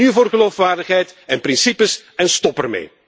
Kies nu voor geloofwaardigheid en principes, en stop ermee!